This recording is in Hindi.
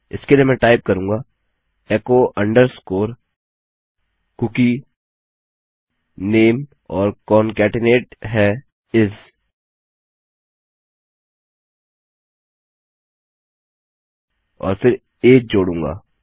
इसके लिए मैं टाइप करूँगा एचो अंडरस्कोर कूकी नामे और कॉनकेटेनेट है इस और फिर अगे जोडूंगा